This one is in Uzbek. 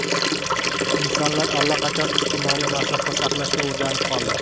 Insonlar allaqachon ijtimoiy masofa saqlashga o‘rganib qoldi.